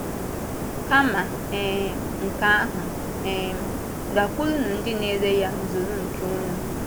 Kama um nke ahụ, um gakwurunụ ndị na-ere ya zụrụ nke unu.”